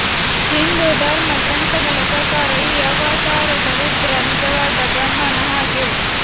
ಹಿಂದೂ ಧರ್ಮ ಗ್ರಂಥಗಳ ಪ್ರಕಾರ ಈ ಅವತಾರದ ರುದ್ರ ನಿಜವಾದ ಬ್ರಹ್ಮನ ಹಾಗೆ